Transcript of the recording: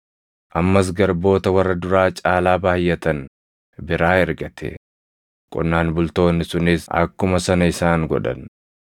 Ammas garboota warra duraa caalaa baayʼatan biraa ergate; qonnaan bultoonni sunis akkuma sana isaan godhan.